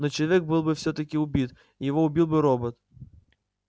но человек был бы всё-таки убит и его убил бы робот